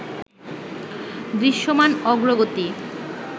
দৃশ্যমান অগ্রগতি